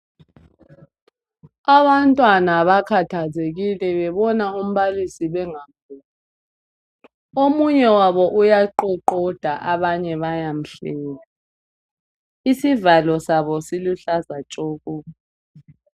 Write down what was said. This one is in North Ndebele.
Abantwana bakhathazekile bebona umbalisi bengamboni. Omunye wabo uyaqoqoda abanye bayamhleka. Isivalo sabo siluhlaza tshoko.